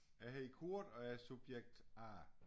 Jeg hedder Kurt og jeg er subjekt A